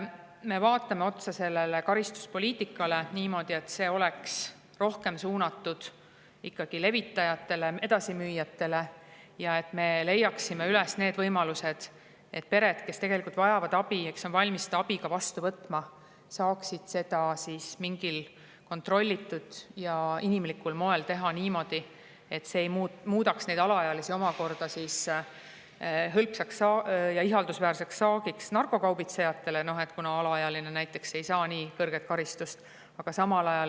Me vaatame otsa karistuspoliitikale ja, et see oleks rohkem suunatud ikkagi levitajatele, edasimüüjatele, ja me leida võimalusi, et pered, kes tegelikult abi vajavad ja kes on valmis abi ka vastu võtma, saaksid seda siis mingil kontrollitud ja inimlikul moel ja et see ei muudaks alaealisi omakorda hõlpsaks ja ihaldusväärseks saagiks narkokaubitsejatele, kuna alaealine ei saa nii karistust.